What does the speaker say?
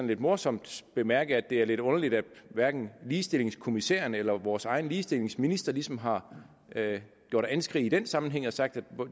lidt morsomt bemærke at det er lidt underligt at hverken ligestillingskommissæren eller vores egen ligestillingsminister ligesom har gjort anskrig i den sammenhæng og sagt at